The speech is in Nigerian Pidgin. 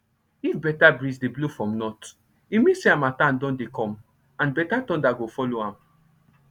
if better breeze dey blow from north e mean say harmattan don dey come and better thunder go follow am